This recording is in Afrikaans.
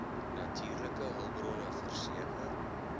natuurlike hulpbronne verseker